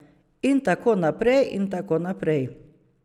In tako naprej in tako naprej.